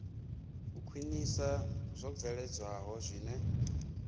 u khwinisa zwo bveledzwaho zwine